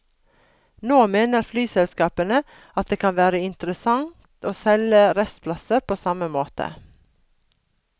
Nå mener flyselskapene at det kan være interessant å selge restplasser på samme måte.